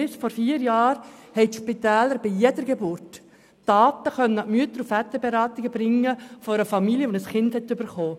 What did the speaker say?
Bis vor vier Jahren haben die Spitäler bei jeder Geburt Daten von einer Familie, die ein Kind bekommen hat, an die Mütter- und Väterberatungen gegeben.